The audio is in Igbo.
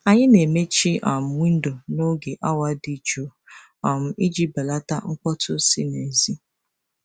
Anyị na-emechi um windo n'oge awa dị jụụ um iji belata mkpọtụ si n'èzí.